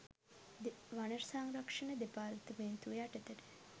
වන සංරක්ෂණ දෙපාර්තමේන්තුව යටතට